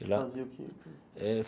E lá... E fazia o quê? Eh.